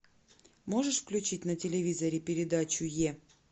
можешь включить на телевизоре передачу е